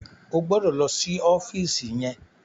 O gbọdọ̀ lọ sí ọ́fíìsì yẹn.